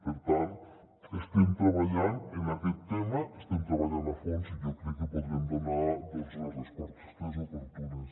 per tant estem tre·ballant en aquest tema hi estem treballant a fons i jo crec que podrem donar les res·postes oportunes